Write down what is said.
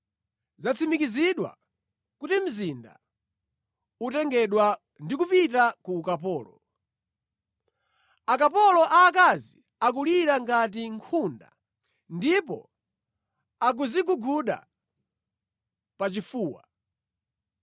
Zatsimikizika kuti mzinda utengedwa ndi kupita ku ukapolo. Akapolo aakazi akulira ngati nkhunda ndipo akudziguguda pachifuwa.